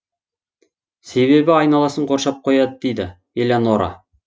себебі айналасын қоршап қояды дейді элеонора